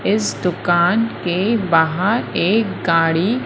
इस दुकान के बाहर एक गाड़ी--